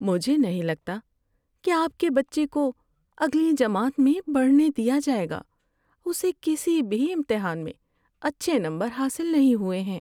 مجھے نہیں لگتا کہ آپ کے بچے کو اگلی جماعت میں بڑھنے دیا جائے گا۔ اسے کسی بھی امتحان میں اچھے نمبر حاصل نہیں ہوئے ہیں۔